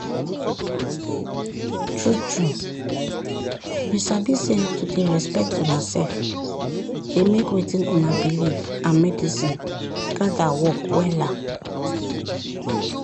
true trueyou sabi say to dey respect una sef dey make wetin una believe and medicine gather work wella.